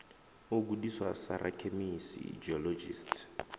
u gudiswa sa rakhemisi geologist